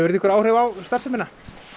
einhver áhrif á starfsemina